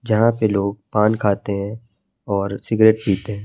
जहां पे लोग पान खाते हैं और सिगरेट पीते है।